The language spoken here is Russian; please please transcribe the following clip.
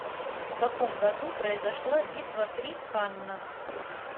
в каком году произошла битва при каннах